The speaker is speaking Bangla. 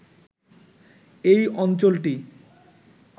এই অঞ্চলটি